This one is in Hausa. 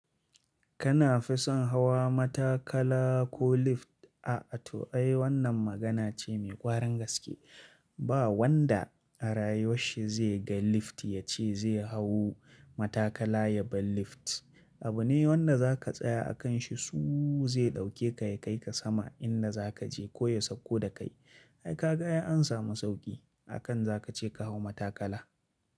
Kana fi son hawa matakala ko lift? A'a to ai wannan magana ce mai ƙwarin gaske. Ba wanda a rayuwarshi zai ga lift ya ce zai hau matakala yabi lift. Abu ne wanda za ka tsaya a kanshi suuu zai ɗauke ka ya kai ka sama in za ka je ko ya sauko da kai. Ai ka ga ya ansama sauki akan za ka ce ka hau matakala.